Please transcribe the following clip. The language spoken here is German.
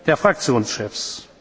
Runde der Fraktionschefs.